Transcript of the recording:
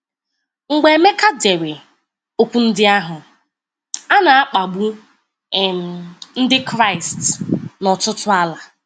Mgbe Emeka dere okwu ndị ahụ, a na-akpagbu um Ndị Kraịst n'ọtụtụ ala.